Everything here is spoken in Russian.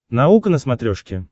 наука на смотрешке